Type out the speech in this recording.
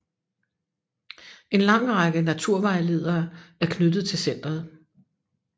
En lang række naturvejledere er knyttet til centeret